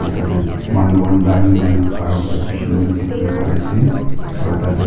tate manu khan line kuina khara kura bishi manu dikiwole pare ase aro tate--